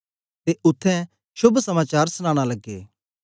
ते उत्थें शोभ समाचार सनाना लगे